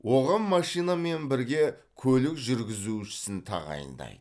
оған машинамен бірге көлік жүргізушісін тағайындайды